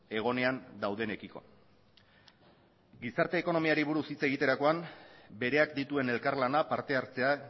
egonean daudenekiko gizarte ekonomiari buruz hitz egiterakoan bereak dituen elkarlana partehartzea